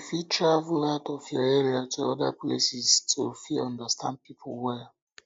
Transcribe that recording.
you fit travel out of your area to oda places to to fit understand pipo well